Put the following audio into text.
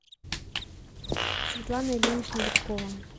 светлана ильинична дедкова